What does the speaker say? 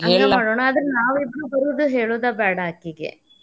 ಹಂಗ ಮಾಡೋನ ಆದ್ರ ನಾವಿಬ್ರೂ ಬರುದ್ ಹೇಳೋದ ಬ್ಯಾಡಾ ಆಕಿಗೆ .